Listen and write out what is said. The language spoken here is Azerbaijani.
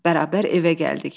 Bərabər evə gəldik.